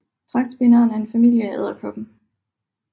Tragtspinderen er en familie af edderkopper